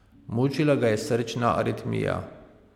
Mučila ga je srčna aritmija.